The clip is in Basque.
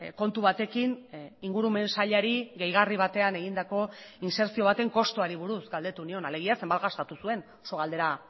kontu batekin ingurumen sailari gehigarri batean egindako insertzio baten kostuari buruz galdetu nion alegia zenbat gastatu zuen oso galdera